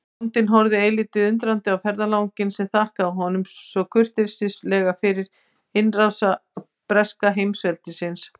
Bóndinn horfði eilítið undrandi á ferðalanginn sem þakkaði honum svo kurteislega fyrir innrás breska heimsveldisins.